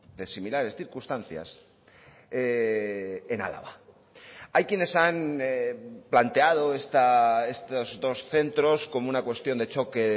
de similares circunstancias en álava hay quienes han planteado estos dos centros como una cuestión de choque